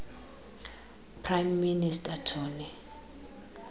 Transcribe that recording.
prime minister tony